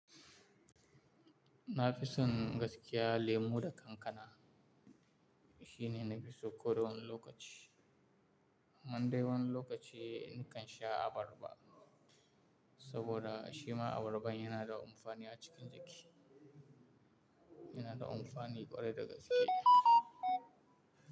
Na fi son gaskiya lemu da kankana shine nafi so ko dawani lokaci. Man dai wani lokaci nikan sha abarba saboda shima abarban yina da amfani a cikin jiki, yina da amfani ƙwarai da gaske.